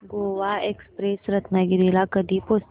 Goa express Ratnagiri ला कधी पोहचते